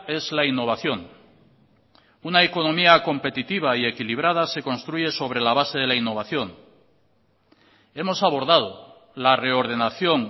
es la innovación una economía competitiva y equilibrada se construye sobre la base de la innovación hemos abordado la reordenación